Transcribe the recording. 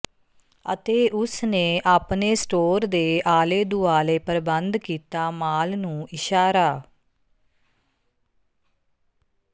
ਅਤੇ ਉਸ ਨੇ ਆਪਣੇ ਸਟੋਰ ਦੇ ਆਲੇ ਦੁਆਲੇ ਪ੍ਰਬੰਧ ਕੀਤਾ ਮਾਲ ਨੂੰ ਇਸ਼ਾਰਾ